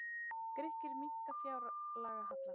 Grikkir minnka fjárlagahallann